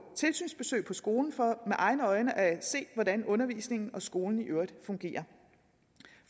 tilsynsbesøg på skolen for med egne øjne at se hvordan undervisningen og skolen i øvrigt fungerer